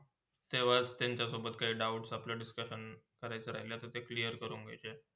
तेव्हा त्यांच्यासोबत काही doubt आलेप Siscusion करायचा राहिलातर ते clear करुण घियाचे.